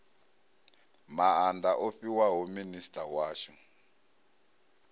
maanda o fhiwaho minisita washu